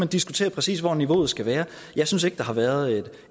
diskutere præcis hvor niveauet skal være jeg synes ikke der har været